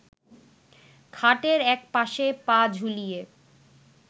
খাটের এক পাশে পা ঝুলিয়ে